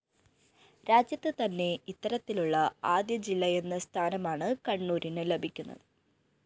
രാജ്യത്ത് തന്നെ ഇത്തരത്തിലുള്ള ആദ്യ ജില്ലയെന്ന സ്ഥാനമാണ് കണ്ണൂരിന് ലഭിക്കുന്നത്